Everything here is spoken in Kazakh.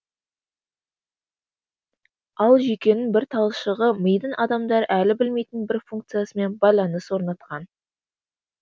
ал жүйкенің бір талшығы мидың адамдар әлі білмейтін бір функциясымен байланыс орнатқан